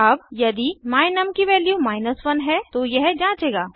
अब यदि my num की वैल्यू 1 है तो यह जांचेगा